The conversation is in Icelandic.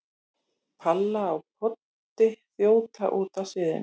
Palla og Poddi þjóta út af sviðinu.